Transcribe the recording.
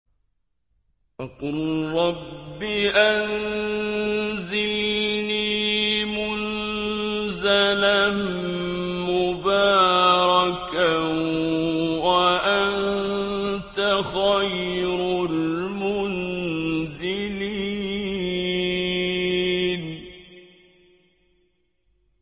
وَقُل رَّبِّ أَنزِلْنِي مُنزَلًا مُّبَارَكًا وَأَنتَ خَيْرُ الْمُنزِلِينَ